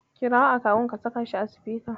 Kirawo akawun ka saka shi a sifika.